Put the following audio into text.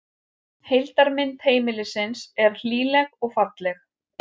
Heildarmynd heimilisins er hlýleg og falleg